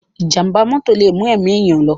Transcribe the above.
Ìjàm̀bá mọ́tò lè mú ẹ̀mí èèyàn lọ.